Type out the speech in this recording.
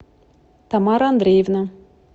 тамара андреевна